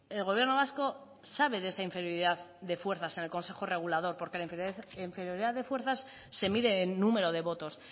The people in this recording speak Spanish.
el gobierno vasco sabe de esa inferioridad de fuerzas en el consejo regulador porque la inferioridad de fuerzas se mide en número de votos